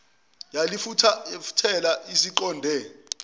yalifulathela isiqonde escottsville